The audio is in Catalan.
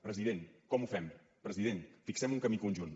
president com ho fem president fixem un camí conjunt